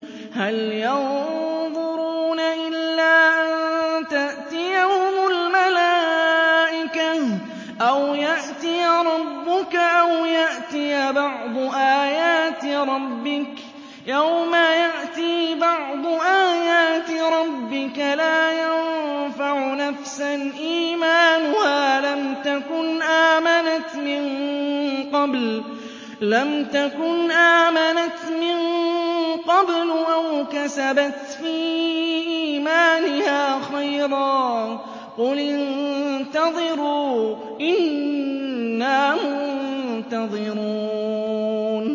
هَلْ يَنظُرُونَ إِلَّا أَن تَأْتِيَهُمُ الْمَلَائِكَةُ أَوْ يَأْتِيَ رَبُّكَ أَوْ يَأْتِيَ بَعْضُ آيَاتِ رَبِّكَ ۗ يَوْمَ يَأْتِي بَعْضُ آيَاتِ رَبِّكَ لَا يَنفَعُ نَفْسًا إِيمَانُهَا لَمْ تَكُنْ آمَنَتْ مِن قَبْلُ أَوْ كَسَبَتْ فِي إِيمَانِهَا خَيْرًا ۗ قُلِ انتَظِرُوا إِنَّا مُنتَظِرُونَ